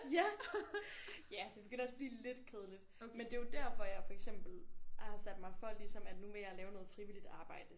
Ja ja det begynder også at blive lidt kedeligt men det er jo derfor jeg for eksempel har sat mig for ligesom at nu vil jeg lave noget frivilligt arbejde